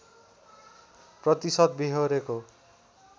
प्रतिशत बेहोरेको